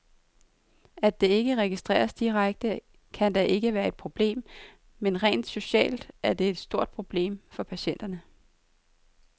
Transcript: At det ikke registreres direkte, kan da ikke være et problem, men rent socialt er det et stort problem for patienterne.